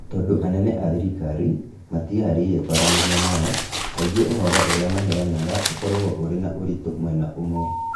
Tondũ anene a thirikari matiĩharĩirie kwaranĩria nao, kaingĩ ũhoro ũrĩa maheanaga ũkoragwo ũrĩ na ũritũ mwena ũmwe.